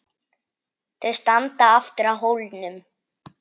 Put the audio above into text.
Þau standa aftur á hólnum.